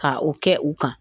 Ka o kɛ u kan